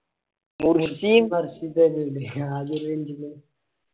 Murshi